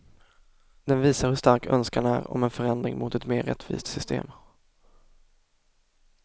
Den visar hur stark önskan är om en förändring mot ett mer rättvist system.